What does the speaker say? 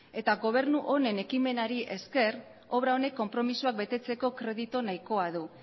eta gobernu honen ekimenari esker obra honek konpromisoak betetzeko kreditu nahikoa du